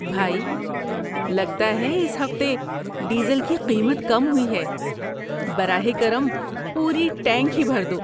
بھائی، لگتا ہے اس ہفتے ڈیزل کی قیمت کم ہوئی ہے۔ براہ کرم پوری ٹینک ہی بھر دو۔